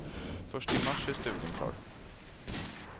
Först i mars är studien klar.